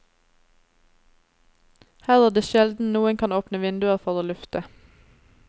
Her er det sjelden noen kan åpne vinduer for å lufte.